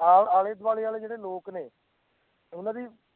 ਆ~ ਆਲੇ ਦੁਆਲੇ ਵਾਲੇ ਜਿਹੜੇ ਲੋਕ ਨੇ ਉਹਨਾਂ ਦੀ